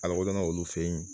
A lakodɔnna olu fɛ yen